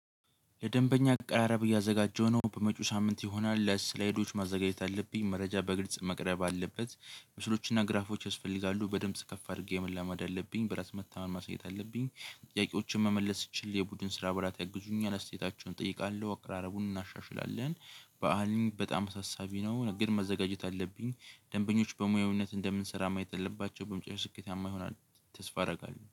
ለደንበኛ አቀራረብ እያዘጋጀሁ ነው በመጪው ሳምንት ይሆናል ለስላይዶች ማዘጋጀት አለብኝ መረጃ በግልጽ መቅረብ አለበት ምስሎችና ግራፎች ያስፈልጋሉ በድምጽ ከፍ አድርጌ መለማመድ አለብኝ በራስ መተማመን ማሳየት አለብኝ። ጥያቄዎችን መመለስ ስችል የቡድን ስራ ብላት ያግዙኛል አስተያየታቸውን እጠይቃለሁ አከራረቡን እናሻሽላለን። በዓልም በጣም ሳሳቢ ነው ግን መዘጋጀት አለብኝ። ደንበኞች በሙያውነት እንደምንሰራ ማየት አለባቸው በምጫሹ ስኬታማ ይሆናል። ተስፋ አደርጋለሁ